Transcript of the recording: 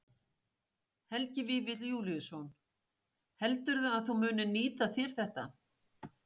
Helgi Vífill Júlíusson: Heldurðu að þú munir nýta þér þetta?